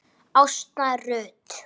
Ásta Rut.